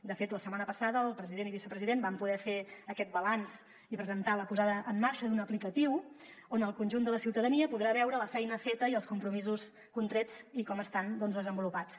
de fet la setmana passada el president i el vicepresident van poder fer aquest balanç i presentar la posada en marxa d’una aplicació on el conjunt de la ciutadania podrà veure la feina feta i els compromisos contrets i com estan desenvolupats